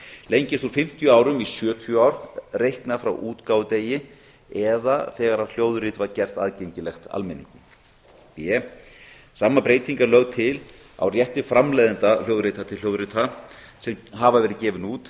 lengist úr fimmtíu árum í sjötíu ár reiknað frá útgáfudegi eða þegar hljóðrit var gert aðgengilegt almenningi b sama breyting er lögð til á rétti framleiðenda hljóðrita til hljóðrita sem hafa verið gefin út